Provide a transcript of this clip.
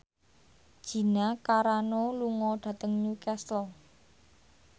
Gina Carano lunga dhateng Newcastle